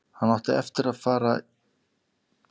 Hann átti að fara í líkamsrækt eftir rúman klukkutíma.